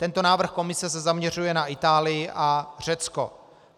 Tento návrh Komise se zaměřuje na Itálii a Řecko.